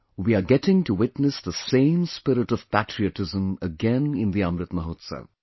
We are getting to witness the same spirit of patriotism again in the Amrit Mahotsav